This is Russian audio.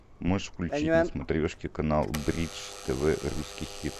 можешь включить на смотрешке канал бридж тв русский хит